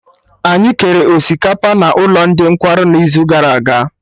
Anyị kere osikapa na ụkọ ndị nkwarụ n'izugara aga